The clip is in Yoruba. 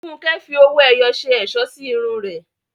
Funke fi owó ẹyọ ṣe ẹ̀ṣọ́ sí irun rẹ̀.